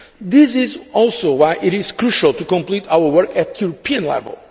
This is also why it is crucial to complete our work at European level.